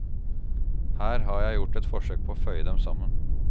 Her har jeg gjort et forsøk på å føye dem sammen.